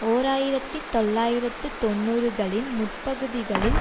ஓர் ஆயிரத்தி தொள்ளாயிரத்து தொன்னூறுகளின் முற்பகுதிகளில்